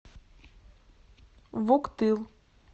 вуктыл